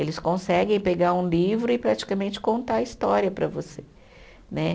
Eles conseguem pegar um livro e praticamente contar a história para você, né.